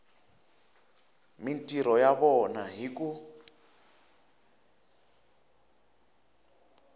mintirho ya vona hi ku